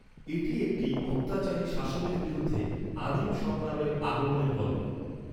এটি একটি অত্যাচারী শাসনের বিরুদ্ধে আদিম সংগ্রামের আগমনের গল্প।